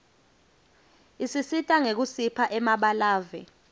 isisita ngekusipha emabalave